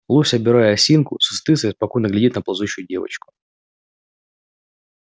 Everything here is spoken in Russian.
лось обирая осинку с высоты своей спокойно глядит на ползущую девочку